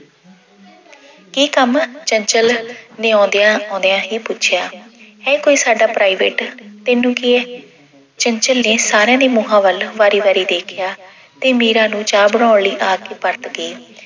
ਕੀ ਕੰਮ, ਚੰਚਲ ਨੇ ਆਉਂਦਿਆਂ-ਆਉਂਦਿਆਂ ਹੀ ਪੁੱਛਿਆ, ਹੈ ਕੋਈ ਸਾਡਾ private ਤੈਨੂੰ ਕੀ ਐ। ਚੰਚਲ ਨੇ ਸਾਰਿਆਂ ਦੇ ਮੂੰਹਾਂ ਵੱਲ ਵਾਰੀ-ਵਾਰੀ ਵੇਖਿਆ ਤੇ ਮੀਰਾ ਨੂੰ ਚਾਹ ਬਣਾਉਣ ਲਈ ਆਖ ਕੇ ਪਰਤ ਗਈ।